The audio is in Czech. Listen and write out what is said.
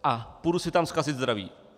A půjdu si tam zkazit zdraví.